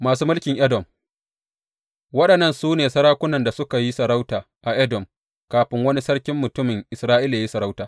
Masu mulkin Edom Waɗannan su ne sarakunan da suka yi sarauta a Edom kafin wani sarkin mutumin Isra’ila yă yi sarauta.